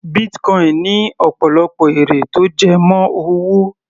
Bitcoin ní ọ̀pọ̀lọpọ̀ èrè tó jẹ mọ́ owó.